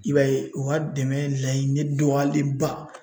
I b'a ye u ka dɛmɛ laɲini dɔgɔyalenba